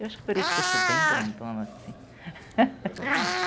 Eu acho que por isso que eu sou bem grandona, assim.